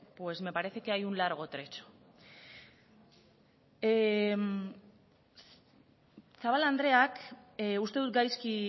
pues me parece que hay un largo trecho zabala andereak uste dut gaizki